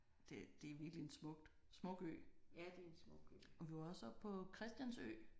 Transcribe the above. Det det er virkelig en smukt smuk ø. Og vi var også oppe på Christiansø